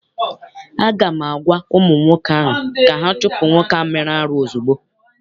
Aga m agwa ụmụ nwoke ahụ ka ha chụpụ nwoke ahụ mere arụ ozugbo!